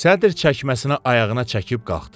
Sədr çəkməsinə ayağına çəkib qalxdı.